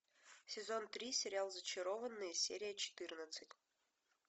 сезон три сериал зачарованные серия четырнадцать